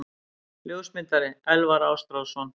Ljósmyndari: Elvar Ástráðsson.